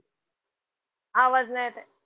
आवाज नाही येत आहे.